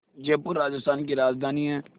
जयपुर राजस्थान की राजधानी है